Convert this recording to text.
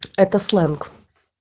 это сленг